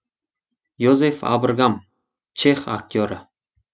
йозеф абргам чех актері